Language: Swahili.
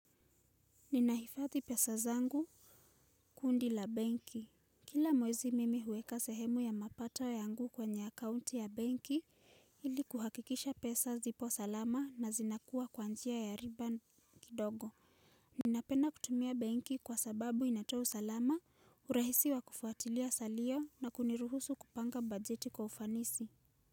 Ninahifadhi pesa zangu kundi la benki. Kila mwezi mimi huweka sehemu ya mapato yangu kwenye account ya benki ili kuhakikisha pesa zipo salama na zinakuwa kwa njia ya riba kidogo. Ninapenda kutumia benki kwa sababu inatoa usalama, urahisi wa kufuatilia salio na kuniruhusu kupanga bajeti kwa ufanisi.